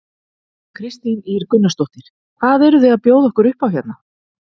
Kristín Ýr Gunnarsdóttir: Hvað eruð þið að bjóða okkur upp á hérna?